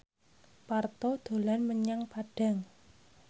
Parto dolan menyang Padang